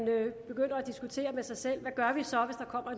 begynder at diskutere med sig selv hvad gør vi så